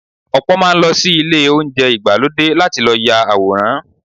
Ọ̀pọ̀ máa ń lọ sí ilé oúnjẹ ìgbàlódé láti ya àwòrán.